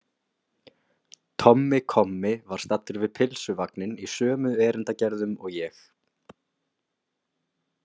Tommi kommi var staddur við pylsuvagninn í sömu erindagerðum og ég.